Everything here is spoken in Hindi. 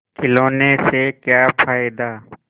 खिलौने से क्या फ़ायदा